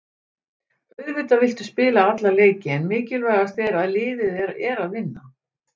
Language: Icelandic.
Auðvitað viltu spila alla leiki en mikilvægast er að liðið er að vinna.